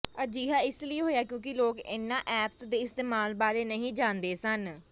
ਅਜਿਹਾ ਇਸ ਲਈ ਹੋਇਆ ਕਿਉਂਕਿ ਲੋਕ ਇਨ੍ਹਾਂ ਐਪਸ ਦੇ ਇਸਤੇਮਾਲ ਬਾਰੇ ਨਹੀਂ ਜਾਣਦੇ ਸਨ